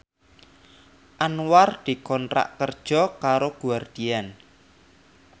Anwar dikontrak kerja karo Guardian